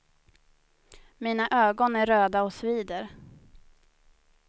Mina ögon är röda och svider.